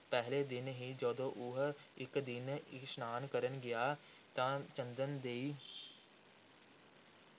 ਪਹਿਲੇ ਦਿਨ ਹੀ ਜਦੋਂ ਉਹ ਇਕ ਦਿਨ ਇਸ਼ਨਾਨ ਕਰਨ ਗਿਆ ਤਾਂ ਚੰਦਨ ਦੇਈ